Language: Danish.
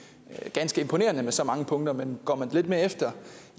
ganske imponerende med så mange punkter men går man lidt mere i